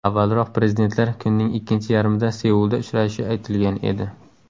Avvalroq prezidentlar kunning ikkinchi yarmida Seulda uchrashishi aytilgan edi.